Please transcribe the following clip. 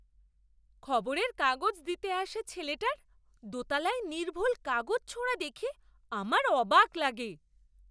খবরের কাগজ দিতে আসা ছেলেটার দোতলায় নির্ভুল কাগজ ছোঁড়া দেখে আমার অবাক লাগে!